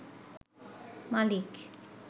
মালিক